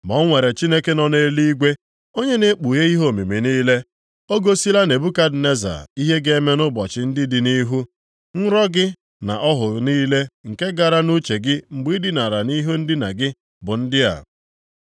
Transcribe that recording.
Ma o nwere Chineke nọ nʼeluigwe, onye na-ekpughe ihe omimi niile. O gosila Nebukadneza ihe ga-eme nʼụbọchị ndị dị nʼihu. Nrọ gị na ọhụ niile nke gara nʼuche gị mgbe ị dinara nʼihe ndina gị bụ ndị a: